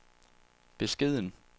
beskeden